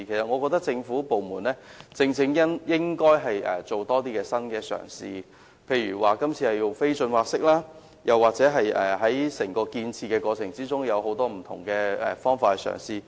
我認為政府部門應多作新嘗試，例如這次的不浚挖式填海，又或在整個建設過程中採用各種不同方法。